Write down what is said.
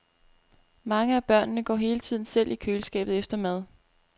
Mange af børnene går hele tiden selv i køleskabet efter mad.